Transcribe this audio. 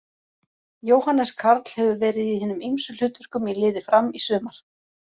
Jóhannes Karl hefur verið í hinum ýmsum hlutverkum í liði Fram í sumar.